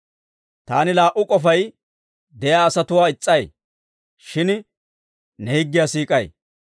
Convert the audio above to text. Taani laa"u k'ofay de'iyaa asatuwaa is's'ay; shin ne higgiyaa siik'ay.